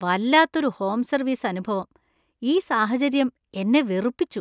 വല്ലാത്തൊരു home service അനുഭവം! ഈ സാഹചര്യം എന്നെ വെറുപ്പിച്ചു .